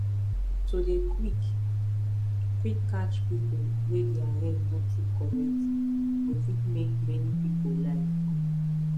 to dey quick quick catch people wey their head no too correct go fit make many people life good